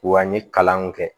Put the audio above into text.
Wa an ye kalanw kɛ